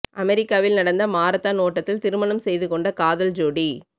அமெரிக்காவில் நடந்த மராத்தான் ஓட்டத்தில் திருமணம் செய்து கொண்ட காதல் ஜோடி